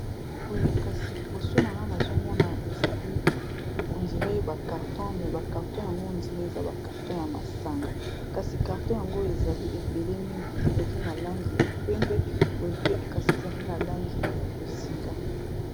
Boye kasi liboso nanga nazomona ezali ondire ba carton me ba carton yango ondire eza ba carton ya masanga kasi carton yango ezali ebele mingi ezali na langi ya pembe boye pe ekasi ezali na langi ya bozinga.